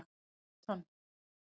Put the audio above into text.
Ég braut tönn!